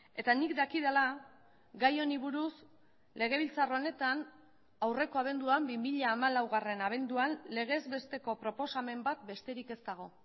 eta nik dakidala gai honi buruz legebiltzar honetan aurreko abenduan bi mila hamalaugarrena abenduan legez besteko proposamen bat besterik ez dago